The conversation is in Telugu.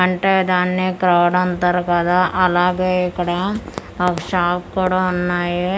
అంటే దాన్ని క్రౌడ్ అంటారు కదా అలాగే ఇక్కడ ఆ షాప్ కూడా ఉన్నాయి.